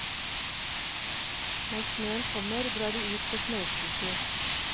Når snøen kommer, drar de ut på snøscooter.